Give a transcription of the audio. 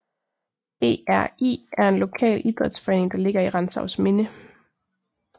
ERI er en lokal idrætsforening der ligger i Rantzausminde